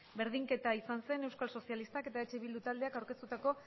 berdinketa izan zen euskal sozialistak eta eh bildu taldeak aurkeztutako